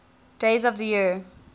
days of the year